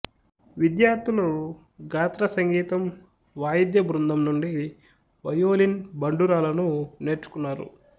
విద్యార్థులు గాత్రసంగీతం వాయిద్య బృందం నుండి వయోలిన్ బండురాలను నేర్చుకున్నారు